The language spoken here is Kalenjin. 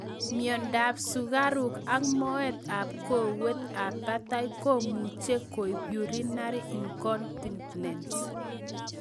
Myondo ab sukaruk ak moet ab kowet ab batai komuche koib urinary incontinence